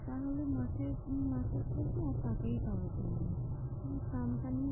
তাহলে মাসের মাসের শেষে আর তাকাই পাওয়া যায় না। company